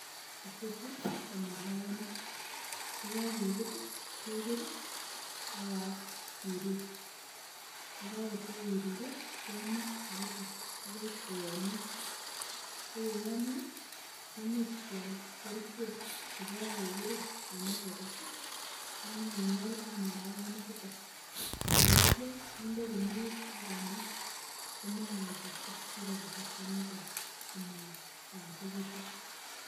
Icheju ko marakonik, ye kogebut ii kebir ii ak kirur. Ye kagotwo kiruree kemaa kabisa akoi koyomnyo, ko ye yomnyo kimuch keal kerichek chebo kukurik en agrovet aknyekingol ak marakonichuto. Ye ityo kinde guniok ak kenab komokowechokse. Ago ibe kasarta ne koi komayachekitun.